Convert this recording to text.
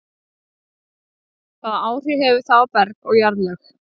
Hvaða áhrif hefur það á berg og jarðlög?